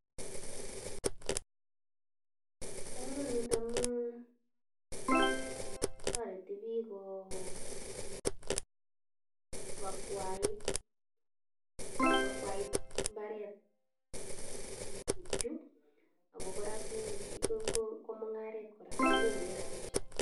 Bo kamanut amu toreti biik ko, ko akwait. Ko akwait mbaret tukchu ago kora ko ngi, ko mung'aret kora. Kinyorune rabisiek.